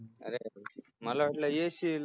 मला वाटलं येशील